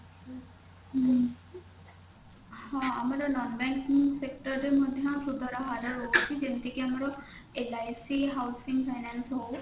ହଁ ଆମର nonbanking sector ରେ ମଧ୍ୟ ସୁଧର ହାର ରହୁଛି ଯେମିତି କି ଆମର LIC housing finance ହଉ